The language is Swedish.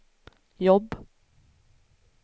jobb